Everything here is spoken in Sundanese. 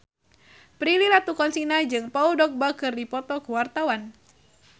Prilly Latuconsina jeung Paul Dogba keur dipoto ku wartawan